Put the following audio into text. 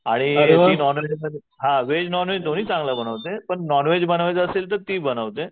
आणि ती नॉनव्हेज मध्ये हां व्हेज नॉनव्हेज दोन्ही चांगलं बनवते. पण नॉनव्हेज बनवायचं असेल तर ती बनवते.